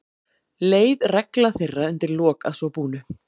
Leið regla þeirra undir lok að svo búnu.